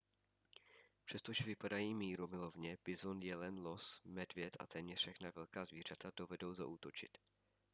přestože vypadají mírumilovně bizon jelen los medvěd a téměř všechna velká zvířata dovedou zaútočit